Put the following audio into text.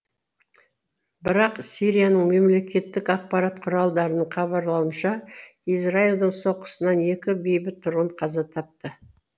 бірақ сирияның мемлекеттік ақпарат құралдарының хабарлауынша израильдің соққысынан екі бейбіт тұрғын қаза тапты